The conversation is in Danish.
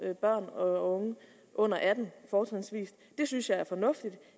børn og unge under atten år det synes jeg er fornuftigt